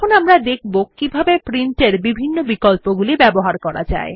আমরা এখন দেখব কিভাবে প্রিন্ট এর বিভিন্ন বিকল্পগুলি ব্যবহার করা যায়